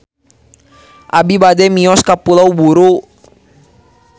Abi bade mios ka Pulau Buru